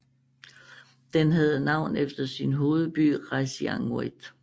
Den havde navn efter sin hovedby Qasigiannguit